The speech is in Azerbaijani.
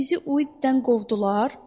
Bizi Uiddən qovdular?